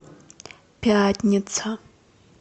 пятница